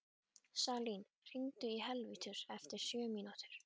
Salín, hringdu í Helvítus eftir sjötíu mínútur.